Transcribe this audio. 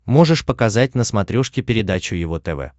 можешь показать на смотрешке передачу его тв